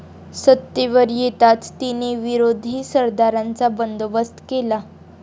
सत्तेवर येताच तिने विरोधी सरदारांचा बंदोबस्त केला.